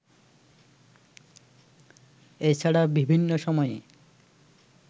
এছাড়া বিভিন্ন সময়ে